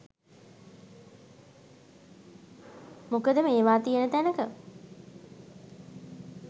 මොකද මේවා තියෙන තැනක